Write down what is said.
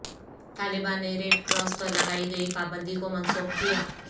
طالبان نے red cross پر لگائی گئی پابندی کو منسوخ کیا